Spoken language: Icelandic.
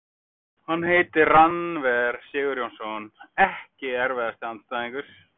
Hann heitir Rannver Sigurjónsson EKKI erfiðasti andstæðingur?